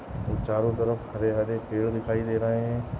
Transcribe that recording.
और चारों तरफ हरे हरे पेड़ दिखाई दे रहे है।